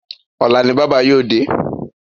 Ọ̀la ni bábà yóò dé.